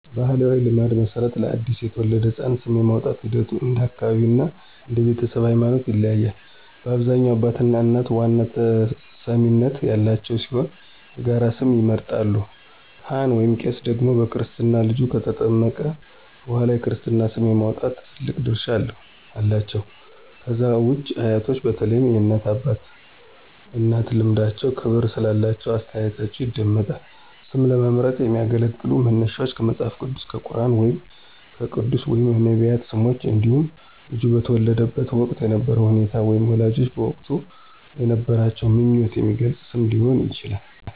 በባሕላዊ ልማድ መሠረት፣ ለአዲስ የተወለደ ሕፃን ስም የማውጣቱ ሂደት እንደ አካባቢው እና እንደ ቤተሰቡ ሃይማኖት ይለያያል። በአብዛኛው አባትና እናት ዋና ተሰሚነት ያላቸው ሲሆን የጋራ ስም ይመርጣሉ። ካህን/ቄስ ደግሞ በክርስትና ልጁ ከተጠመቀ በኋላ የክርስትና ስም የማውጣት ትልቅ ድርሻ አላቸው። ከዛ ውጪ አያቶች በተለይም የእናት አባትና የአባት እናት ልምዳቸውና ክብር ስላላቸው አስተያየታቸው ይደመጣል። ስም ለመምረጥ የሚያገለግሉ መነሻዎች ከመጽሐፍ ቅዱስ፣ ከቁርኣን ወይም ከቅዱሳን/ነቢያት ስሞች እንዲሁም ልጁ በተወለደበት ወቅት የነበረውን ሁኔታ ወይም ወላጆች በወቅቱ የነበራቸውን ምኞት የሚገልጽ ስም ሊሆን ይችላል።